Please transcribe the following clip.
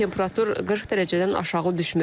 Temperatur 40 dərəcədən aşağı düşmür.